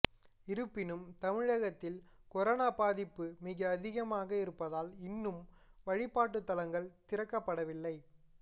இருப்பினும் தமிழகத்தில் கொரோனா பாதிப்பு மிக அதிகமாக இருப்பதால் இன்னும் வழிபாட்டுத்தலங்கள் திறக்கப்படவில்லை